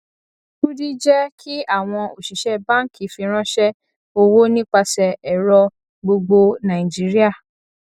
kudi jẹ kí àwọn òṣìṣẹ báńkì fìránṣẹ owó nípasẹ ẹrọ gbogbo nàìjíríà